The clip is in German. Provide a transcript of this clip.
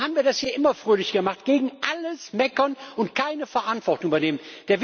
So haben wir das hier immer fröhlich gemacht gegen alles meckern und keine Verantwortung übernehmen!